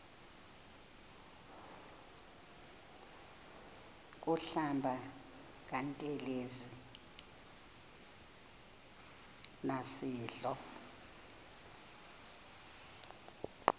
kuhlamba ngantelezi nasidlo